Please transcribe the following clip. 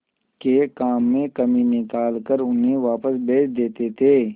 के काम में कमी निकाल कर उन्हें वापस भेज देते थे